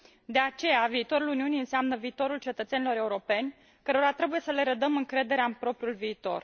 De aceea, viitorul Uniunii înseamnă viitorul cetățenilor europeni, cărora trebuie să le redăm încrederea în propriul viitor.